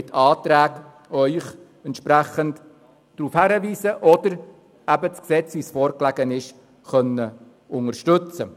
Wir konnten das Gesetz so, wie es uns vorlag, entweder unterstützen, oder wir werden Ihnen Anträge stellen.